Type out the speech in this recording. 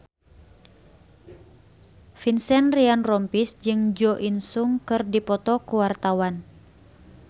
Vincent Ryan Rompies jeung Jo In Sung keur dipoto ku wartawan